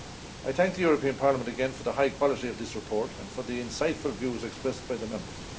I thank the European Parliament again for the high quality of this report and for the insightful views expressed by the Members.